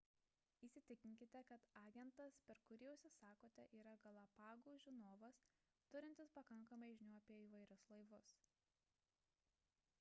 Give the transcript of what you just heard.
įsitikinkite kad agentas per kurį užsisakote yra galapagų žinovas turintis pakankamai žinių apie įvairius laivus